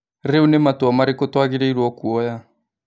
Rĩu nĩ matua marĩkũ twagĩrĩirwo kuoya?